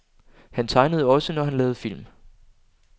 Han tegnede også, når han lavede film.